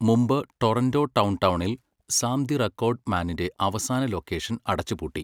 മുമ്പ്, ടൊറന്റോ ഡൗൺടൗണിൽ Sam the Record മാനിന്റെ അവസാന ലൊക്കേഷൻ അടച്ചുപൂട്ടി.